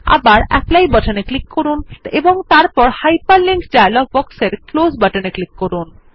আবার অ্যাপলি বাটনে ক্লিক করুন এবং তারপর হাইপারলিংক ডায়লগ বক্সের ক্লোজ বাটনে ক্লিক করুন